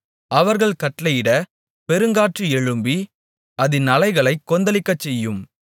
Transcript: அவர் கட்டளையிட பெருங்காற்று எழும்பி அதின் அலைகளைக் கொந்தளிக்கச்செய்யும்